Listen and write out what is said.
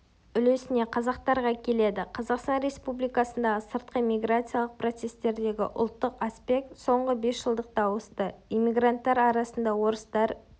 үлесіне қазақтарға келеді қазақстан республикасындағы сыртқы миграциялық процестердегі ұлттық аспект соңғы бесжылдықта ауысты эммигранттар арасында-орыстар